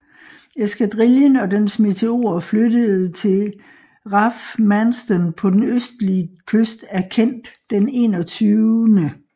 Eskadrillen og dens Meteorer flyttede til RAF Manston på den østlige kyst af Kent den 21